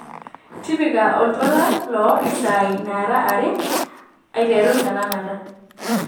tipika oltuala loo isaai naara aare eiteru tenakata